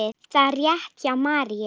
Það er rétt hjá Maríu.